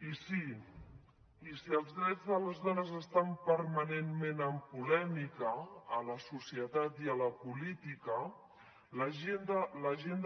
i sí i si els drets de les dones estan permanentment amb polèmica a la societat i a la política l’agenda